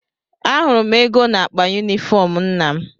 Ahụrụ m ego n’akpa yunifọm nna m.